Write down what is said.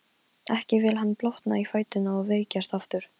Ekki vill hann blotna í fæturna og veikjast aftur.